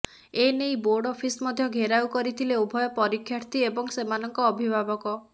ଏନେଇ board office ମଧ୍ୟ ଘେରାଉ କରିଥିଲେ ଉଭୟ ପରୀକ୍ଷାର୍ଥୀ ଏବଂ ସେମାନଙ୍କ ଅଭିଭାବକ